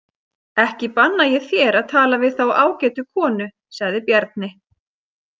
Ekki banna ég þér að tala við þá ágætu konu, sagði Bjarni.